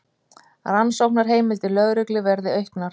Rannsóknarheimildir lögreglu verði auknar